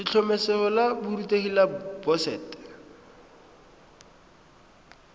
letlhomeso la borutegi la boset